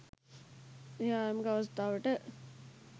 එහි ආරම්භක අවස්ථාවට